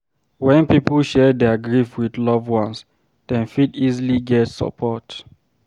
When pipo share their grief with loved ones, dem fit easily get support